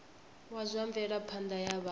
wa zwa mvelaphanda ya vhathu